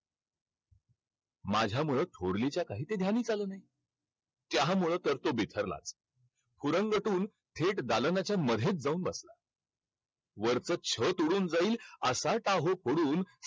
माझ्यामुळं थोरलीच्या काही ते ध्यानीच आलं नाही. त्यामुळं तर तो बिथरला. थेट दालनाच्या मध्येच जाऊन बसला. वरचं छत उडून जाईल असा टाहो फोडून